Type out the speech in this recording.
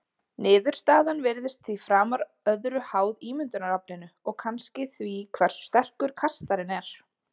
Niðurstaðan virðist því framar öðru háð ímyndunaraflinu og kannski því hversu sterkur kastarinn er.